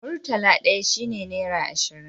murtala ɗaya shi ne nera ashirin